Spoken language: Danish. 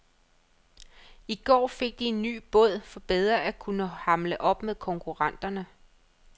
I går fik de en ny båd for bedre at kunne hamle op med konkurrenterne.